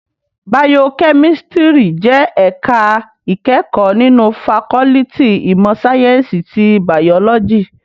Bàyókèmìsítìrí jè èká ikèékò ninú fákòlìtí imò sáyènsí ti bàyólòjí